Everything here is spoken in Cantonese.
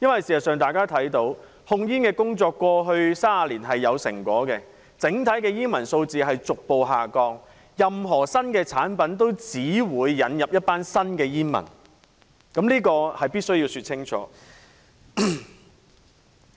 事實上，大家都看到控煙工作在過去30年是有成果的，整體煙民數字逐步下降，任何新產品都只會引來一群新的煙民，這是必需要說清楚的。